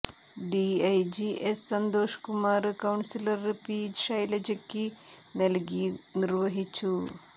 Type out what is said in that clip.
DIG S Santhosh Kumar councillor P ഷൈലജയ്ക്ക് നല്കി നിര്വഹിച്ചു